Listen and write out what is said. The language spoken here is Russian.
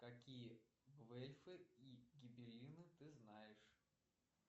какие гвельфы и гибеллины ты знаешь